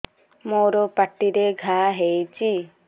ମୋର ପାଟିରେ ଘା ହେଇଚି